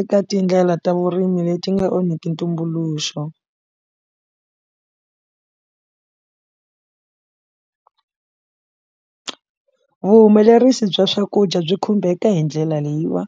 eka tindlela ta vurimi leti nga onhiki ntumbuluxo vuhumelerisi bya swakudya byi khumbeka hi ndlela leyiwa